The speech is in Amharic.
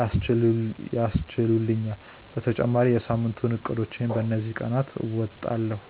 ያስችህላቹአል በተጨማሪም የ ሳምንቱን እቅዶችን በ እንዚህ ቀናት አወጣለሁ።